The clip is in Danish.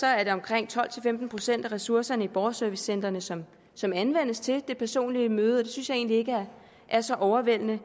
er det omkring tolv til femten procent af ressourcerne i borgerservicecentrene som som anvendes til det personlige møde og det synes jeg egentlig ikke er så overvældende